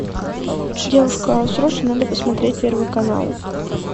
девушка срочно надо посмотреть первый канал